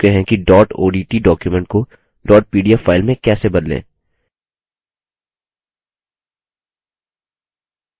हम पहले ही देख चुके हैं कि dot odt document को dot pdf file में कैसे बदलें